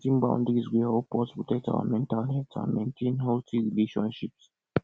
boundaries go help us protect our mental health and maintain healthy relationships